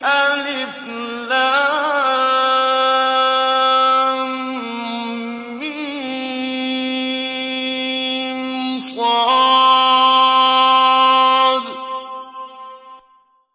المص